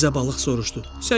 Riza balıq soruşdu: